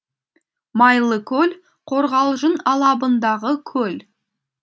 майлыкөл қорғалжын алабындағы көл